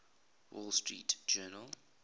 wall street journal